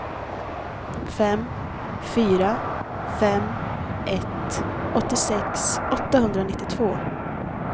fem fyra fem ett åttiosex åttahundranittiotvå